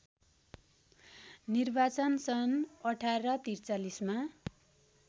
निर्वाचन सन् १८४३ मा